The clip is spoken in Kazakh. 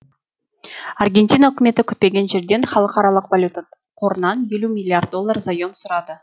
аргентина үкіметі күтпеген жерден халықаралық валюта қорынан елу миллиард доллар заем сұрады